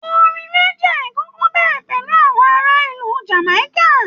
Orin reggae kọkọ bẹrẹ pẹlu àwọn ará ìlú Jamaika.